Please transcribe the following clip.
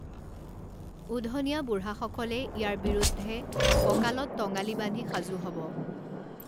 উধনীয়া বুঢ়া সকলে ইয়াৰ বিৰুদ্ধে কঁকালত টঙালি বান্ধি সাজু হ'ব।